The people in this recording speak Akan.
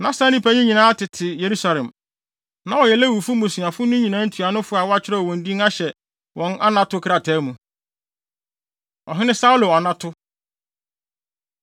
Na saa nnipa yi nyinaa tete Yerusalem. Na wɔyɛ Lewifo mmusua no nyinaa ntuanofo a wɔakyerɛw wɔn din ahyɛ wɔn anato krataa mu. Ɔhene Saulo Anato